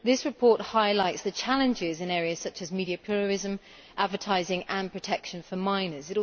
This report highlights the challenges in areas such as media pluralism, advertising and protection for minors.